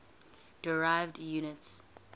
derived units